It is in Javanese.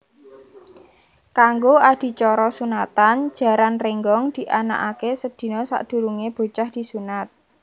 Kanggo adicara sunatan Jaran Rénggong dianakaké sedina sadurungé bocah disunat